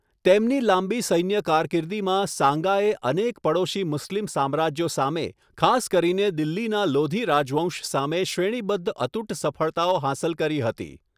તેમની લાંબી સૈન્ય કારકિર્દીમાં સાંગાએ અનેક પડોશી મુસ્લિમ સામ્રાજ્યો સામે, ખાસ કરીને દિલ્હીના લોધી રાજવંશ સામે શ્રેણીબદ્ધ અતૂટ સફળતાઓ હાંસલ કરી હતી.